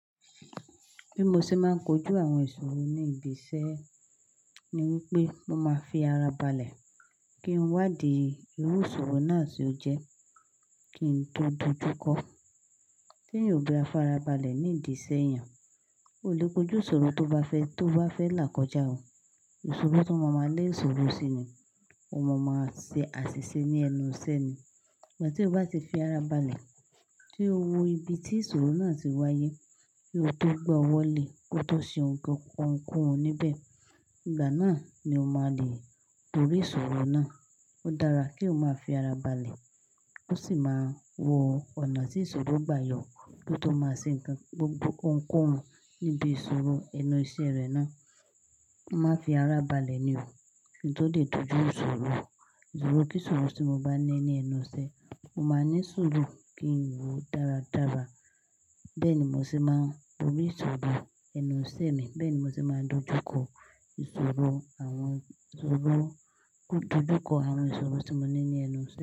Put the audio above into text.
Bí mo ṣe máa ń kojú àwọn ìṣòro ní ibi iṣẹ́ ni wípé mo máa fi ara balẹ̀ kí n wá di irú ìṣòro náà tí ó jẹ́ kí n tó dojúkọ. Tí eyan ò bá farabalẹ̀ ní ìdí iṣẹ́ eyan, o lè kojú ìṣòro tó bá fẹ́ tó bá fẹ́ là kọjá o. Ìṣòro tó máa ma lé ìṣòro síi ni, o máa máa ṣe àṣìṣe ní ẹnu iṣẹ́ ni. Ìgbà tí ó bá ti fi ara balẹ̀, tí ó wo ibi tí ìṣòro náà ti wáyé, kí ó tó gbọ́ ọwọ́ lé kó tó ṣe ohunkóhun níbẹ̀. Ìgbà náà ni o máa lè borí ìṣòro náà. Ó dára kí o máa fi ara balẹ̀, ó sì máa wo ọ̀nà tí ìṣòro gbà yọ kó tó máa ṣe ohunkóhun níbi ìṣòro ẹnu iṣẹ́ rẹ̀ náà. Má fi ara balẹ̀ ni o, kí n tó lè dojú ìṣòro. Ìṣòro kí ìṣòro tí mo bá ní ní ẹnu iṣẹ́, mo máa ní ìṣòro kí n wò dáradára. Bẹ́ẹ̀ ni mo ṣe máa ń borí ìṣòro ẹnu iṣẹ́ mi, bẹ́ẹ̀ ni mo ṣe máa ń dojúkọ ìṣòro àwọn ìṣòro, dojúkọ àwọn ìṣòro tí mo ní ní ẹnu iṣẹ́.